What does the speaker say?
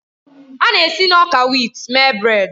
A na-esi na ọka wit mee brèd.